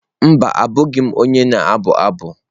Mba, abụghị m onye na-abụ abụ.